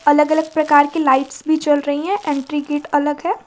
अलग अलग प्रकार की लाइट्स भी जल रही है एंट्री गेट अलग है।